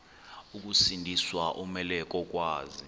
ukusindiswa umelwe kokwazi